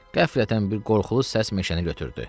Qəflətən bir qorxulu səs meşəni götürdü.